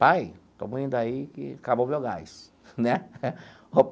Pai, estamos indo aí que acabou o meu gás né.